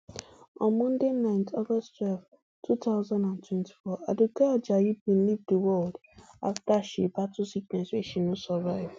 on monday night august twelve two thousand and twenty-four aduke ajayi bin leave di world afta she battle sickness wey she no survive